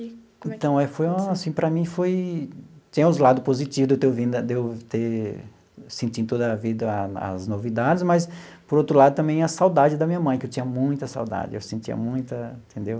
Então aí foi um, assim, para mim foi... Tinha os lados positivos de eu ter vindo de eu ter sentir toda a vida as as novidades, mas, por outro lado, também a saudade da minha mãe, que eu tinha muita saudade, eu sentia muita, entendeu?